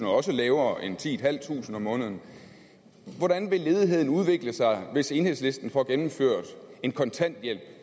og også lavere end titusinde kroner om måneden hvordan vil ledigheden udvikle sig hvis enhedslisten får gennemført en kontanthjælp